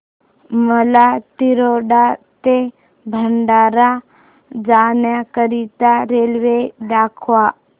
मला तिरोडा ते भंडारा जाण्या करीता रेल्वे दाखवा